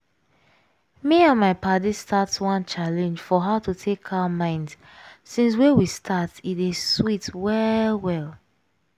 me and my paddies start one challenge for how to take calm mind since wey we start e dey sweet well well.